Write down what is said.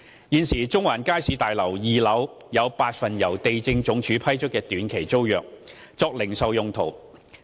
現時，中環街市大樓2樓有8份由地政總署批出的短期租約，作零售用途。